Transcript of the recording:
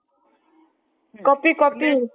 copy copy